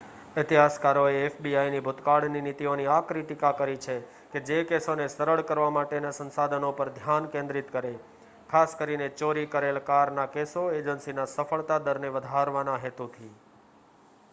ઇતિહાસકારોએ એફબીઆઇની ભૂતકાળની નીતિઓની આકરી ટીકા કરી છે કે જે કેસોને સરળ કરવા માટેના સંસાધનો પર ધ્યાન કેન્દ્રિત કરે ખાસ કરીને ચોરી કરેલ કારના કેસો એજન્સીના સફળતા દરને વધારવાના હેતુથી